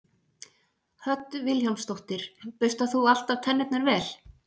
Hödd Vilhjálmsdóttir: Burstar þú alltaf tennurnar vel?